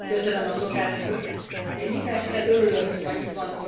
Én mindenesetre örülök, hogy ma itt van Orbán Viktor miniszterelnök úr.